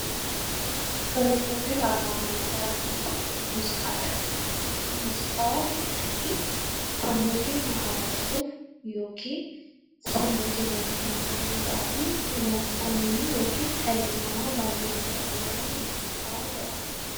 Muuziqaa jechuun sammuu keenya haaromsuuf yookaan sammuu keenya gammachiisuu fi wanta nuyi dhalli namaa baay'een itti fayyadamu muuziqaa jedhama